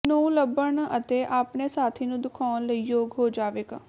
ਨੂੰ ਲੱਭਣ ਅਤੇ ਆਪਣੇ ਸਾਥੀ ਨੂੰ ਦਿਖਾਉਣ ਲਈ ਯੋਗ ਹੋ ਜਾਵੇਗਾ